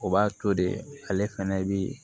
O b'a to de ale fɛnɛ bi